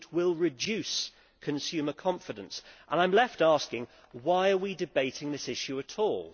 It will reduce consumer confidence, and I am left asking why we are debating this issue at all.